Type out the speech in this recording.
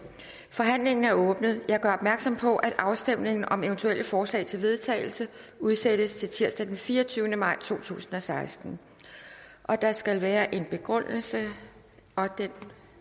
forhandlingen er åbnet jeg gør opmærksom på at afstemningen om eventuelle forslag til vedtagelse udsættes til tirsdag den fireogtyvende maj to tusind og seksten der skal være en begrundelse og det